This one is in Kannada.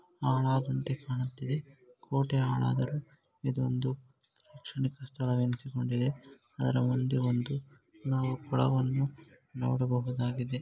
ಹಾಳಾದಂತೆ ಕಾಣುತ್ತಿದೆ ಕೋಟೆ ಹಾಳಾದರೂ ಇದೊಂದು ಕ್ಷಣಿಕ ಸ್ಥಳ ಎನಿಸಿಕೊಂಡಿದೆ ಅದರ ಮುಂದೆ ಒಂದು ನಾವು ಕೊಳವನ್ನು ನೋಡಬಹುದಾಗಿದೆ.